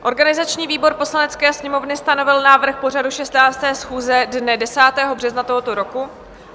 Organizační výbor Poslanecké sněmovny stanovil návrh pořadu 16. schůze dne 10. března tohoto roku.